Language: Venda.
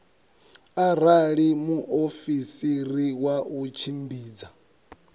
arali muofisiri wa u tshimbidza